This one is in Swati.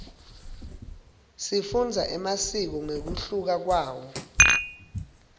sifundza emasiko ngekunluka kwawo